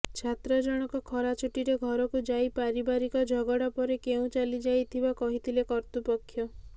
ଛାତ୍ର ଜଣକ ଖରା ଛୁଟିରେ ଘରକୁ ଯାଇ ପାରିବାରିକ ଝଗଡ଼ା ପରେ କେଉଁ ଚାଲିଯାଇଥିବା କହିଥିଲେ କର୍ତ୍ତୃପକ୍ଷ